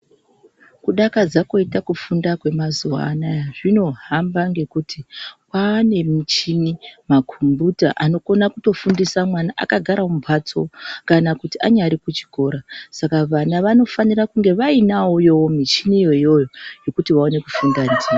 Kudakadza koite kufunda kwemazuvaanaya zvinohamba ngekuti kwaanemichini ,magumbuta anokonakutofundisa mwana akagara mumbatso kana kuti anyare kuchikora, saka vana vanofanira kunge vayinayoyo michini iyoyoyo yekuti vawane kufunda ndivo.